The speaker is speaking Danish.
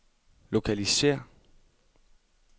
lokalisér